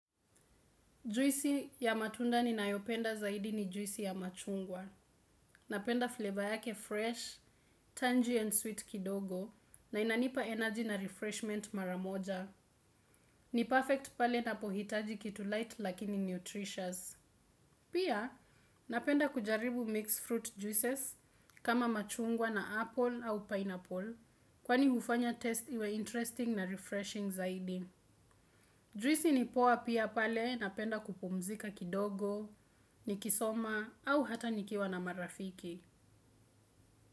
Juisi ya matunda ni nayopenda zaidi ni juisi ya machungwa. Napenda flavor yake fresh, tangy and sweet kidogo na inanipa energy na refreshment maramoja. Ni perfect pale napohitaji kitu light lakini nutritious. Pia napenda kujaribu mixed fruit juices kama machungwa na apple au pineapple kwani hufanya test iwe interesting na refreshing zaidi. Drisi ni poa pia pale na penda kupumzika kidogo, nikisoma au hata nikiwa na marafiki.